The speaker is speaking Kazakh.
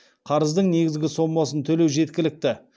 қарыздың негізгі сомасын төлеу жеткілікті